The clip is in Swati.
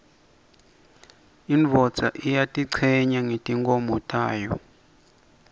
indvodza iyatichenya ngetimkhomo tayo